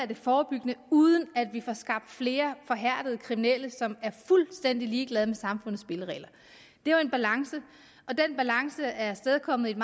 det forebyggende uden at vi får skabt flere forhærdede kriminelle som er fuldstændig ligeglade med samfundets spilleregler det er jo en balance og den balance er afstedkommet i et